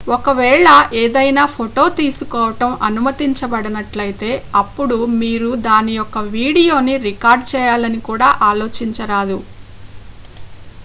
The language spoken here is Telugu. ఒకవేళ ఏదైనా ఫోటో తీసుకోవడం అనుమతించబడనట్లయితే అప్పుడు మీరు దాని యొక్క వీడియోని రికార్డ్ చేయాలని కూడా ఆలోచించరాదు